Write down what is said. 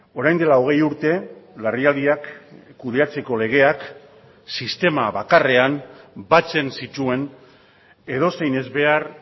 orain dela hogei urte larrialdiak kudeatzeko legeak sistema bakarrean batzen zituen edozein ezbehar